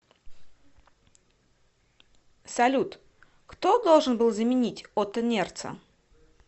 салют кто должен был заменить отто нерца